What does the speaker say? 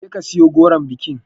Je ka siyo goron bikin